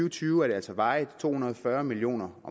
og tyve er det altså varigt to hundrede og fyrre million